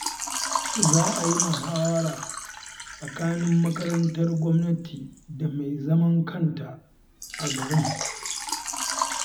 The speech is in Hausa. Za a yi muhawara tsakanin makarantar gwamnati da mai zaman kanta a garin